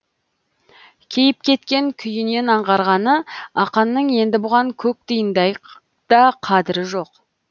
кейіп кеткен күйінен аңғарғаны ақанның енді бұған көк тиындай да қадірі жоқ